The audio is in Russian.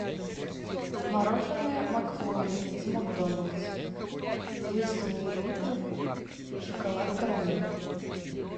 мороженое макфлури из макдональдс двести миллилитров шоколад карамель